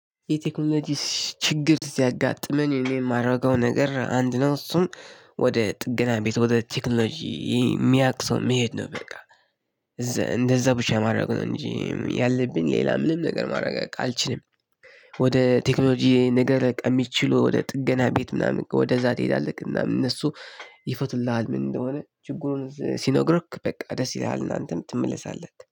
የቴክኖሎጂ ችግር ሲያጋጥመን እኔ የማደርገው ነገር አንድ ነው እሱም ወደ ጥገና ቤት ወደ ቴክኖሎጂ የሚያውቅ ሰው መሄድ ነው። በቃ እዘ እንደዛ ብቻ ማድረግ ነው እንጂ ያለብን ሌላ ምንም ነገር ማድረግ አልችልም። ወደ ቴክኖሎጂ ነገር በቃ የሚችሉ ወደ ጥገና ቤት ምናምን ወደዛ ትሄዳለህ እናም እነሱ ይፈቱልሃል። ምን እንደሆነ ችግሩን ሲነግሩክ በቃ ደስ ይለሃል እና አንተም ትመለሳለህ